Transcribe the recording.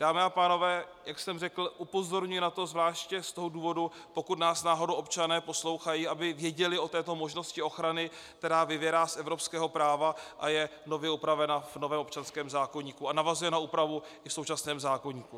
Dámy a pánové, jak jsem řekl, upozorňuji na to zvláště z toho důvodu, pokud nás náhodou občané poslouchají, aby věděli o této možnosti ochrany, která vyvěrá z evropského práva a je nově upravena v novém občanském zákoníku a navazuje na úpravu i v současném zákoníku.